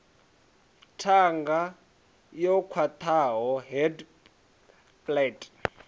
ṱhanga yo khwaṱhaho hard palate